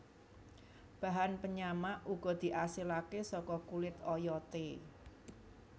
Bahan penyamak uga diasilake saka kulit oyote